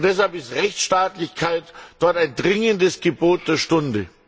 Und deshalb ist Rechtsstaatlichkeit dort ein dringendes Gebot der Stunde.